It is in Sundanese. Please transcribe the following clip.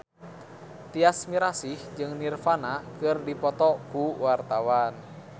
Tyas Mirasih jeung Nirvana keur dipoto ku wartawan